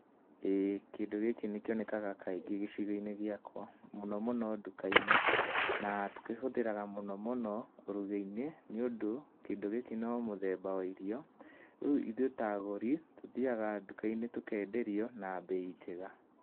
Ĩĩ kĩndũ gĩkĩ nĩkĩonekaga kaingĩ gĩcigo-inĩ giakwa, mũno mũno ndũka-inĩ. Na tũkĩhũtharaga mũno mũno ũrugi-inĩ nĩundũ kĩndũ gĩkĩ no mũthemba wa irio. Rĩu ithuĩ ta agũri tuthiaga ndũka-inĩ tukenderio na mbei njega.